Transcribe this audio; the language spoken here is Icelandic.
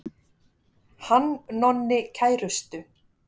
Hann Nonni kærustu.